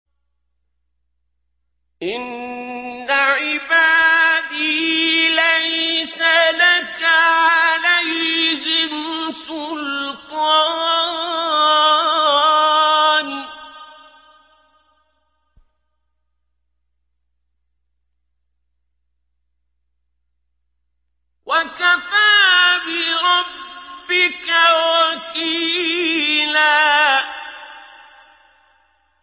إِنَّ عِبَادِي لَيْسَ لَكَ عَلَيْهِمْ سُلْطَانٌ ۚ وَكَفَىٰ بِرَبِّكَ وَكِيلًا